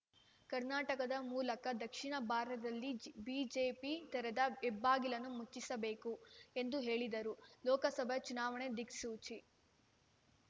ಕರ್ನಾಟಕದ ಮೂಲಕ ದಕ್ಷಿಣ ಭಾರತದಲ್ಲಿ ಬಿಜೆಪಿ ತೆರೆದ ಹೆಬ್ಬಾಗಿಲನ್ನು ಮುಚ್ಚಿಸಬೇಕು ಎಂದು ಹೇಳಿದರು ಲೋಕಸಭೆ ಚುನಾವಣೆಗೆ ದಿಕ್ಸೂಚಿ